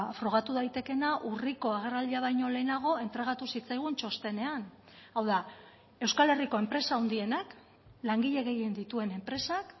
frogatu daitekeena urriko agerraldia baino lehenago entregatu zitzaigun txostenean hau da euskal herriko enpresa handienak langile gehien dituen enpresak